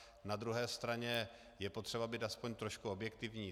Na druhé straně je potřeba být aspoň trošku objektivní.